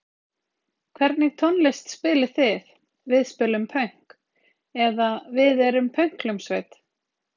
Hvernig tónlist spilið þið?: Við spilum pönk! eða Við erum pönkhljómsveit.